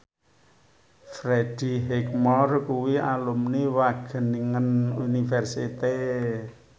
Freddie Highmore kuwi alumni Wageningen University